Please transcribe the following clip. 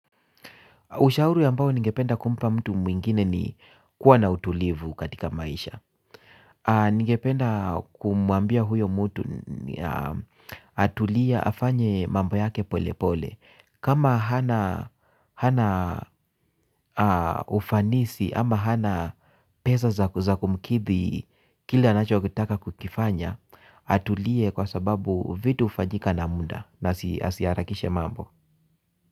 Ushauri ambao ningependa kumpa mtu mwingine ni kuwa na utulivu katika maisha. Ningependa kumuambia huyo mtu atulie afanye mambo yake polepole. Kama hana ufanisi ama hana pesa za kumkidhi kila anachokitaka kukifanya, atulie kwa sababu vitu ufanyika na muda na asiharakishe mambo.